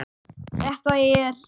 Þetta er.